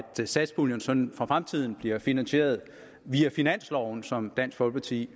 satspuljen sådan for fremtiden bliver finansieret via finansloven som dansk folkeparti